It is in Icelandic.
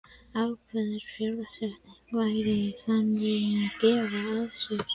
Ákveðin fjárfesting væri í þann veginn að gefa af sér.